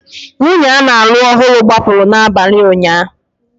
Nwunye a na-alụ ọhụrụ gbapụrụ n'abalị ụnyaahụ